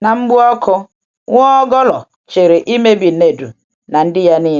Ná mgbụ ọkụ, Nwaọ́kọ́lọ̀ chere imebi Nèdù na ndị ya niile.